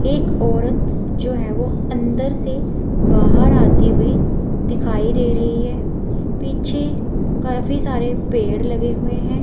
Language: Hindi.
एक औरत जो है वो अंदर से बाहर आती हुई दिखाई दे रही है पीछे काफी सारे पेड़ लगे हुए हैं।